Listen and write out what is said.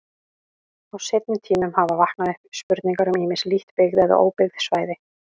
Á seinni tímum hafa vaknað upp spurningar um ýmis lítt byggð eða óbyggð svæði.